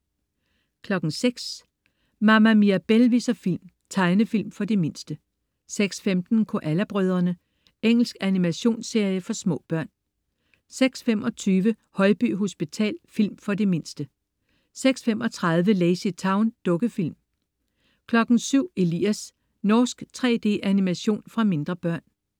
06.00 Mama Mirabelle viser film. Tegnefilm for de mindste 06.15 Koala brødrene. Engelsk animationsserie for små børn 06.25 Højby hospital. Film for de mindste 06.35 LazyTown. Dukkefilm 07.00 Elias. Norsk 3D-animation for mindre børn